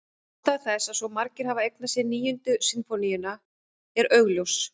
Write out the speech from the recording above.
Ástæða þess að svo margir hafa eignað sér Níundu sinfóníuna er augljós.